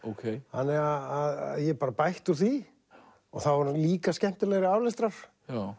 þannig að ég bara bætti úr því og þá var hún líka skemmtilegri aflestrar